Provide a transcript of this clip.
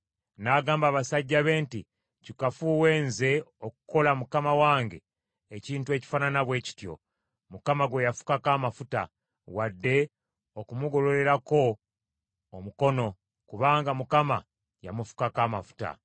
N’agamba abasajja be nti, “Kikafuuwe, nze okukola mukama wange ekintu ekifaanana bwe kityo, Mukama gwe yafukako amafuta, wadde okumugololerako omukono, kubanga Mukama yamufukako amafuta.”